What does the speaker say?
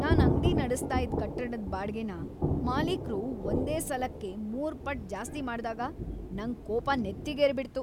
ನಾನ್ ಅಂಗ್ಡಿ ನಡೆಸ್ತಾ ಇದ್ ಕಟ್ಟಡದ್ ಬಾಡ್ಗೆನ ಮಾಲೀಕ್ರು ಒಂದೇ ಸಲಕ್ಕೆ ಮೂರ್ ಪಟ್ಟ್ ಜಾಸ್ತಿ ಮಾಡ್ದಾಗ ನಂಗ್ ಕೋಪ ನೆತ್ತಿಗೇರ್ಬಿಡ್ತು.